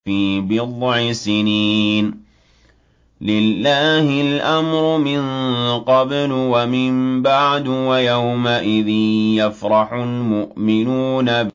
فِي بِضْعِ سِنِينَ ۗ لِلَّهِ الْأَمْرُ مِن قَبْلُ وَمِن بَعْدُ ۚ وَيَوْمَئِذٍ يَفْرَحُ الْمُؤْمِنُونَ